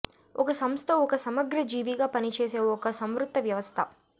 ఒక సంస్థ ఒక సమగ్ర జీవిగా పనిచేసే ఒక సంవృత వ్యవస్థ